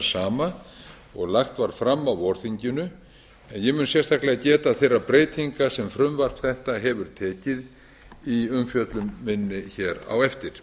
sama og lagt var fram á vorþinginu en ég mun sérstaklega geta þeirra breytinga sem frumvarp þetta hefur tekið í umfjöllun minni hér á eftir